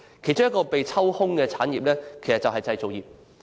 其中一個被抽空的行業正是製造業。